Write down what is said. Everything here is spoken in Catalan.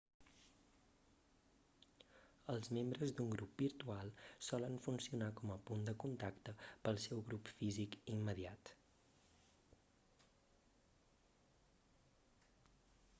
els membres d'un grup virtual solen funcionar com a punt de contacte pel seu grup físic immediat